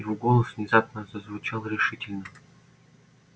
его голос внезапно зазвучал решительно